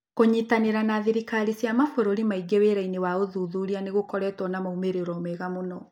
Kũnyitanĩra na thirikari cia mabũrũri mangĩ wĩra-inĩ wa ũthuthuria nĩ gũkoretwo na moimĩrĩro mega mũno.